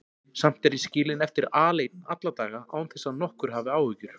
Samt er ég skilinn eftir aleinn alla daga án þess að nokkur hafi áhyggjur.